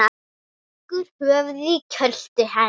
Leggur höfuðið í kjöltu hennar.